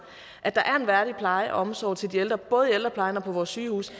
at der er en værdig pleje og omsorg til de ældre både i ældreplejen og på vores sygehuse